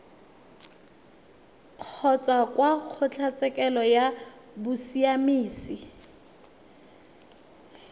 kgotsa kwa kgotlatshekelo ya bosiamisi